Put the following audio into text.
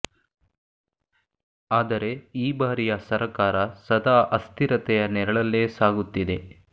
ಆದರೆ ಈ ಬಾರಿಯ ಸರಕಾರ ಸದಾ ಅಸ್ಥಿರತೆಯ ನೆರಳಲ್ಲೇ ಸಾಗುತ್ತಿದೆ